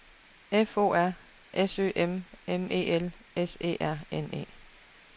F O R S Ø M M E L S E R N E